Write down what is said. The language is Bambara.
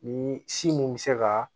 Ni si mun bɛ se ka